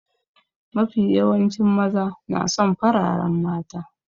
Mafi yawancin maza na son fararen mata.